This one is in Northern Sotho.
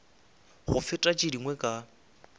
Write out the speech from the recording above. go feta tše dingwe ka